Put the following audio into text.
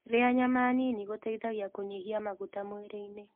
Rĩa nyama nĩnĩ gũteĩthagĩa kũnyĩhĩa magũta mwĩrĩĩnĩ